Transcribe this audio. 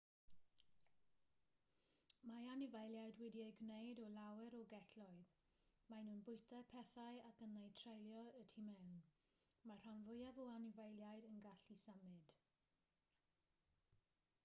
mae anifeiliaid wedi eu gwneud o lawer o gelloedd maen nhw'n bwyta pethau ac yn eu treulio y tu mewn mae'r rhan fwyaf o anifeiliaid yn gallu symud